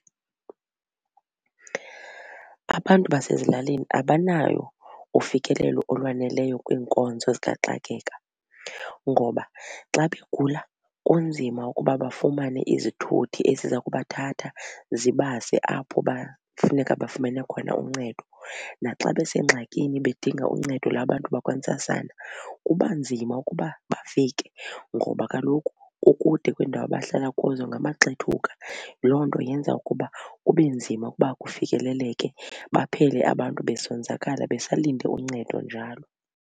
Abantu basezilalini abanalo ufikelelo olwaneleyo kwiinkonzo zikaxakeka ngoba xa begula kunzima ukuba bafumane izithuthi eziza kubathatha zibase apho bafuneka bafumane khona uncedo. Naxa besengxakini bedinga uncedo labantu bakwantsasana kuba nzima ukuba bafike ngoba kaloku kukude kwiindawo abahlala kuzo ngamaxethuka. Loo nto yenza ukuba kube nzima ukuba kufikeleleke baphele abantu besonzakala besalinde uncedo njalo.